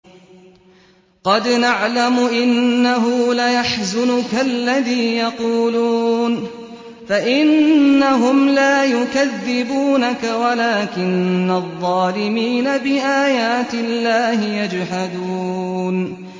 قَدْ نَعْلَمُ إِنَّهُ لَيَحْزُنُكَ الَّذِي يَقُولُونَ ۖ فَإِنَّهُمْ لَا يُكَذِّبُونَكَ وَلَٰكِنَّ الظَّالِمِينَ بِآيَاتِ اللَّهِ يَجْحَدُونَ